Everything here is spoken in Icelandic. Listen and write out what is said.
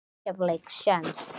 Á Keflavík séns?